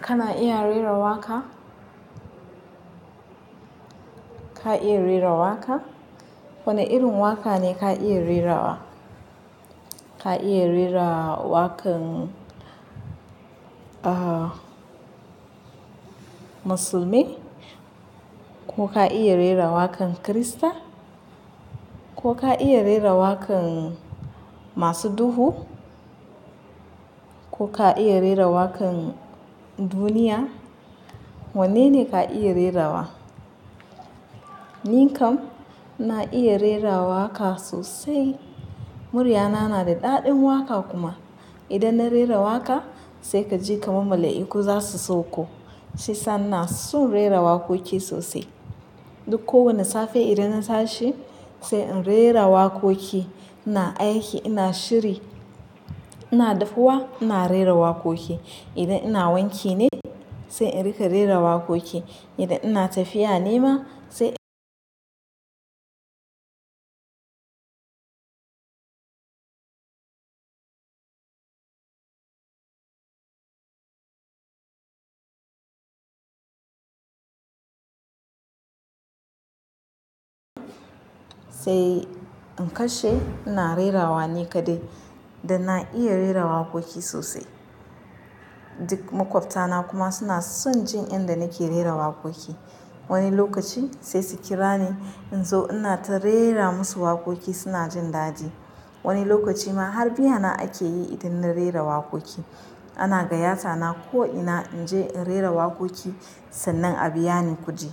Kana iya rera waƙa? Ka iya rera waƙa? Wane irin waƙa ne ka iya rerawa? Ka iya rera waƙan musulmi? Ko ka iya rera waƙan Kirista? Ko ka iya rera waƙan masu duhu? Ko ka iya rera waƙan duniya? Wanne ne ka iya rerawa? Ni kam na iya rera waƙa sosai. Muryana na da daɗin waƙa kuma. Idan na rera waƙa sai kaji kamar mala'iku za su sauko. Sai sannan na son rera waƙoƙi sosai. Duk kowane safe idan na sashi sai in rera waƙoƙi. Ina aiki, ina shiri, ina dafuwa ina rera waƙoƙi. Idan ina wanki ne sai in rika rera waƙoƙi. Idan ina tafiya ne ma sai sai in kashe ina rerawa ni kaɗai. Da na iya rera waƙoƙi sosai. Duk maƙwabtana kuma suna son jin inda nake rera waƙoƙi. Wani lokaci sai su kira ni in zo inata rera musu waƙoƙi suna jin daɗi. Wani lokaci ma har biya na ake yi idan na rera waƙoƙi. Ana gaya ta na ko ina in je in rera waƙoƙi sannan a biya ni kuɗi.